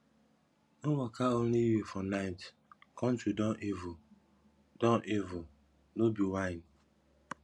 no waka only you for night country don evil don evil no be whine